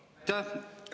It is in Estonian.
Aitäh!